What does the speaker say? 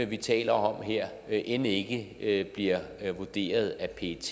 vi taler om her end ikke ikke bliver vurderet af pet